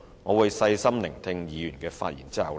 我會在細心聆聽議員的發言後再作回應。